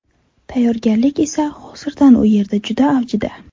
Tayyorgarlik esa hozir u yerda juda avjida.